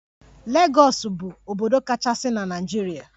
Legọs bu obodo kachasi na Naijiria.